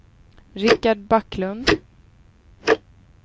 Richard Backlund